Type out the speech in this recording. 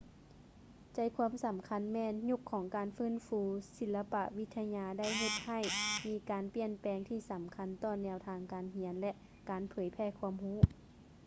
ໃຈຄວາມສຳຄັນແມ່ນ ຍຸກຂອງການຟື້ນຟູສິລະປະວິທະຍາໄດ້ເຮັດໃຫ້ມີການປ່ຽນແປງທີ່ສຳຄັນຕໍ່ແນວທາງການຮຽນ ແລະ ການເຜີຍແຜ່ຄວາມຮູ້